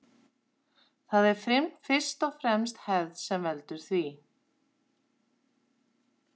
Það er fyrst og fremst hefð sem veldur því.